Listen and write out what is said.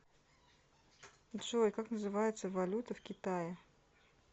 джой как называется валюта в китае